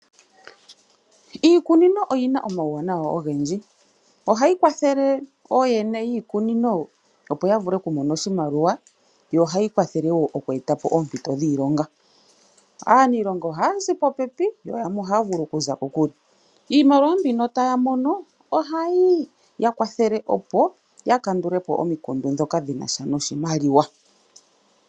Iikunino oyi na omawuwanawa ogendji. Ohayi kwathele ooyene yiikunino opo ya vule oku mona oshimaliwa, yo ohayi kwathele wo oku eta po oompito dhiilonga. Aaniilonga ohaya zi popepi, yo yamwe ohaya vulu oku za kokule. Iimaliwa mbono taya mono ohayi ya kwathele opo ya vule oku kandula po omikundu ndhika dhina sha noshimaliwa.